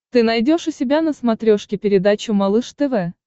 ты найдешь у себя на смотрешке передачу малыш тв